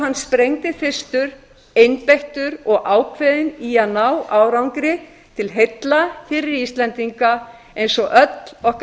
hann sprengdi fyrstur einbeittur og ákveðinn í að ná árangri til heilla fyrir íslendinga eins og öll okkar